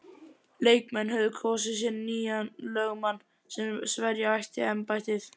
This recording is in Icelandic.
Leikmenn höfðu kosið sér nýjan lögmann sem sverja átti embættiseið.